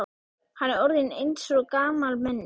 Hann er orðinn eins og gamalmenni.